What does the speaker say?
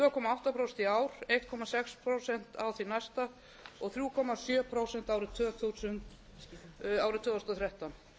átta prósent í ár einn komma sex prósent á því næsta og þrjú komma sjö prósent árið tvö þúsund og þrettán